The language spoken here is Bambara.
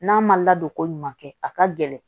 N'a ma ladon ko ɲuman kɛ a ka gɛlɛn